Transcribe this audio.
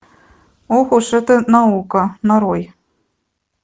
ох уж эта наука нарой